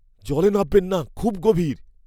জলে নামবেন না। খুব গভীর!